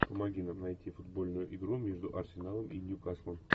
помоги нам найти футбольную игру между арсеналом и ньюкаслом